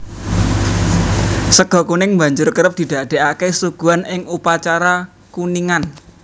Sega kuning banjur kerep didadèkaké suguhan ing upacara kuningan